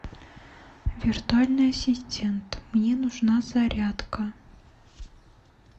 виртуальный ассистент мне нужна зарядка